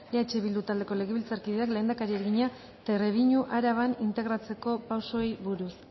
eh bildu taldeko legebiltzarkideak lehendakariari egina trebiñu araban integratzeko pausoei buruz